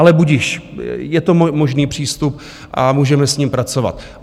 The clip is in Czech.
Ale budiž, je to možný přístup a můžeme s ním pracovat.